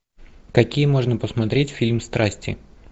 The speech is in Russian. какие можно посмотреть фильм страсти